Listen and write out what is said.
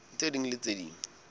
tse ding le tse ding